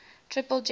triple gem buddha